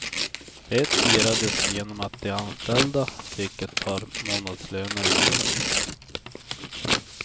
Det firades genom att de anställda fick ett par månadslöner i bonus.